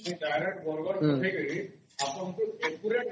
ହଁ